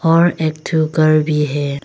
और एक ठोकर भी है।